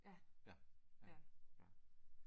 Ja ja